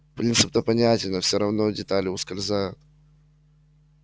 принцип-то понятен но все равно детали ускользают